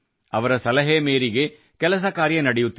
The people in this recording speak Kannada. ಅವರ ಸಲಹೆ ಮೇರೆಗೆ ಕೆಲಸ ಕಾರ್ಯ ನಡೆಯುತ್ತಿದೆ